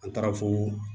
An taara fo